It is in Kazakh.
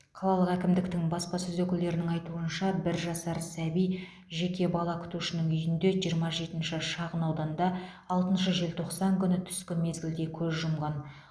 қалалық әкімдіктің баспасөз өкілдерінің айтуынша бір жасар сәби жеке бала күтушінің үйінде жиырма жетінші шағынауданда алтыншы желтоқсан күні түскі мезгілде көз жұмған